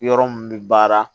Yɔrɔ mun bɛ baara